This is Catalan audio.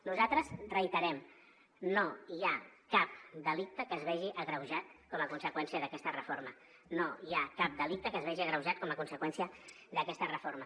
nosaltres ho reiterem no hi ha cap delicte que es vegi agreujat com a conseqüència d’aquesta reforma no hi ha cap delicte que es vegi agreujat com a conse qüència d’aquesta reforma